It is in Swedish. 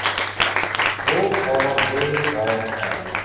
H A D A R